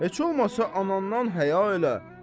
Heç olmasa anandan həya elə.